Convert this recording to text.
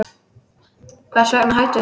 Hvers vegna hættum við því?